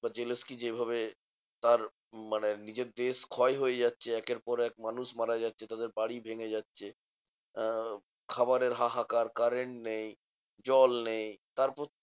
বা হেলেনস যেভাবে তার মানে নিজের দেশ ক্ষয় হয়ে যাচ্ছে একের পর এক মানুষ মারা যাচ্ছে, তাদের বাড়ি ভেঙ্গে যাচ্ছে, আহ খাবারের হাহাকার, current নেই, জল নেই তারপর